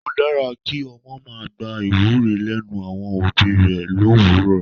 Ó dára kí ọmọ máa gba ìwúre lẹ́nu àwọn òbí rẹ l'òwúrò.